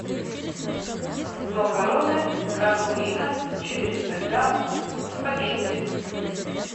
макароны гранулина четыреста грамм спагетти